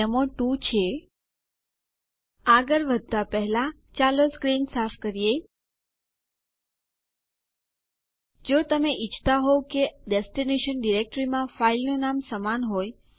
નવા યુઝર બનાવવાની પ્રક્રિયામાં તે યુઝર માટે એક અલગ હોમ ડિરેક્ટરી પણ બનાવવામાં આવે છે